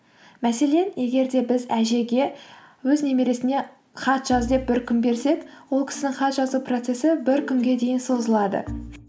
мәселен егер де біз әжеге өз немересіне хат жаз деп бір күн берсек ол кісінің хат жазу процессі бір күнге дейін созылады